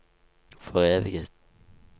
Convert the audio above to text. foreviget